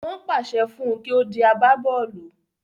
Wọ́n pàṣẹ fún un kí ó di agbábọ́ọ̀lù